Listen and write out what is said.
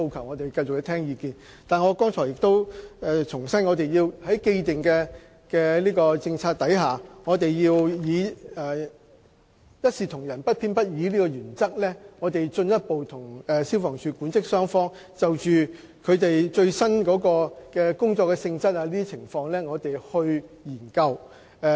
我們會繼續聆聽他們的意見，但我必須重申，在既定政策下，我們要按一視同仁、不偏不倚的原則，進一步與消防處管職雙方就最新的工作性質等情況進行研究。